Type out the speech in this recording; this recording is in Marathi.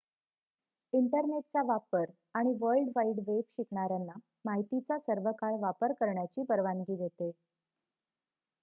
इंटरनेटचा वापर आणि वर्ल्ड वाईड वेब शिकणाऱ्यांना माहितीचा सर्वकाळ वापर करण्याची परवानगी देते